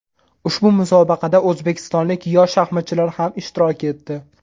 Ushbu musobaqada o‘zbekistonlik yosh shaxmatchilar ham ishtirok etdi.